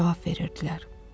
Cavab verirdilər.